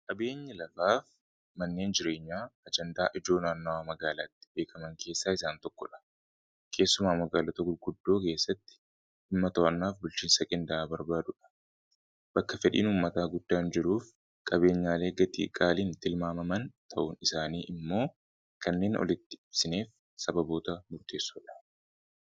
qQabeenyi lafaaf manneen jireenyaa ajandaa ijoo naannawaa magaalaatti beekaman keessaa isaan tokko dha keessumaa magaalata gulguddoo keessatti immatawannaaf bulchiinsa kan barbaadudha bakka fedhiin ummataa guddaan jiruuf qabeenyaalee gatii-qaaliin tilmaamaman ta'un isaanii immoo kanneen olitti ibsiniif sababoota murteessoodha